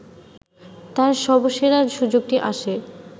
তাঁর সবসেরা সুযোগটি আসে